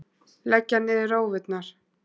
Leggja niður rófurnar!